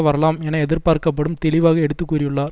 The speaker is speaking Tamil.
வரலாம் என எதிர்பார்க்கப்படும் தெளிவாக எடுத்துக்கூறியுள்ளார்